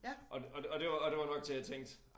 Og og og det og det var nok til jeg tænkte